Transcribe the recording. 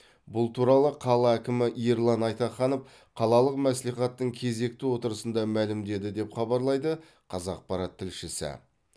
бұл туралы қала әкімі ерлан айтаханов қалалық мәслихаттың кезекті отырысында мәлімдеді деп хабарлайды қазақпарат тілшісі